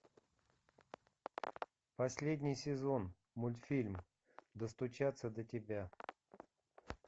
последний сезон мультфильм достучаться до тебя